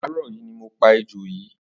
Àárọ yi ni mó pà éjó yi